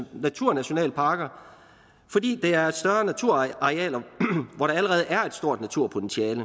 naturnationalparker fordi det er større naturarealer hvor der allerede er et stort naturpotentiale